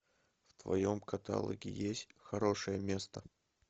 в твоем каталоге есть хорошее место